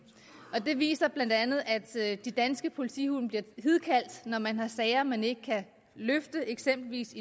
det viser sig blandt andet ved at de danske politihunde bliver hidkaldt når man har sager man ikke kan løse i eksempelvis